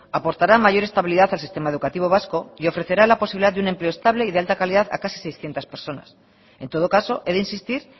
aportará mayor estabilidad al sistema educativo vasco y ofrecerá la posibilidad de un empleo estable y de alta calidad a casi seiscientos personas en todo caso he de insistir